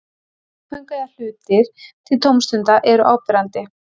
Leikföng eða hlutir til tómstunda eru áberandi.